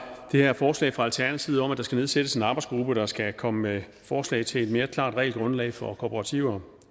det her forslag fra alternativet om at der skal nedsættes en arbejdsgruppe der skal komme med forslag til et mere klart regelgrundlag for kooperativer